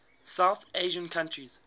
south asian countries